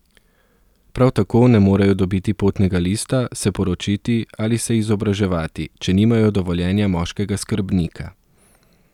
Prav tako ne morejo dobiti potnega lista, se poročiti ali se izobraževati, če nimajo dovoljenja moškega skrbnika.